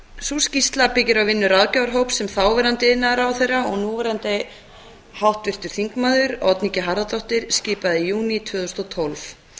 sú skýrsla byggir á vinnu ráðgjafarhóps sem þáverandi iðnaðarráðherra og núverandi háttvirtur þingmaður oddný g harðardóttir skipaði í júní tvö þúsund og tólf